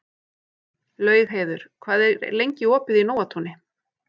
Laugheiður, hvað er lengi opið í Nóatúni?